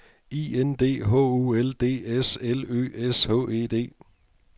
I N D H O L D S L Ø S H E D